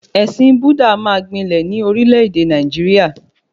Ẹ̀sìn Búdà máa gbilẹ̀ ní orílẹ̀-èdè Nàìjíríà